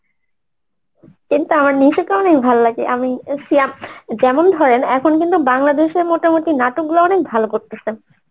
কিন্তু আমার অনেক ভালো লাগে আমি সিয়াফ যেমন ধরেন এখন কিন্তু বাংলাদেশের মোটামুটি নাটকগুলো অনেক ভালো করতেসেন